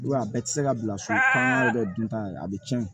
I b'a ye a bɛɛ tɛ se ka bila so la bɛ dun tan a bɛ tiɲɛ